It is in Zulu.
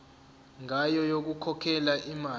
ngayo yokukhokhela imali